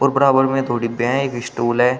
और बराबर में थोड़ी बैग स्टूल है।